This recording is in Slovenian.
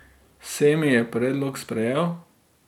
Semi je predlog sprejel.